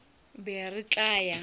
bohle be re tla ya